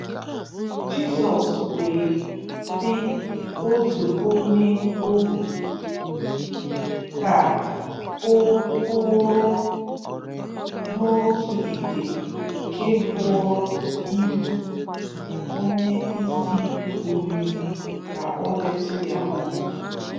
Jizọs wee sị otu onye-ohù ka o kụrụ n’otù ite nke bụrụ ibu nye onye-isi oriri ka o detu ya ọnụ.